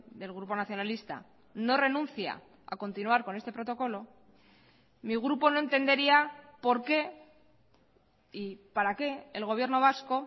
del grupo nacionalista no renuncia a continuar con este protocolo mi grupo no entendería por qué y para qué el gobierno vasco